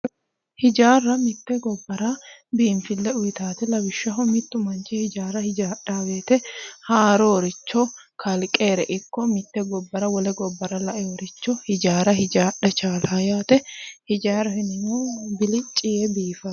hijaarra mitte gobbara biinfille uyiitaate lawishshaho mittu manchi hijaara hijaadhanno wote haarooricho ikko mitte gobbara kalqennire wole gobbara laeericho hijaara hijaadha dandaanno yaate hijaaraho yineemmohu bilicci yee biifano.